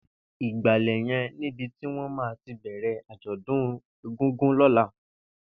Ìgbàlẹ̀ yèn nibi tiwọn mà ti bẹrẹ ájọ̀dún égúngún lọ̀lá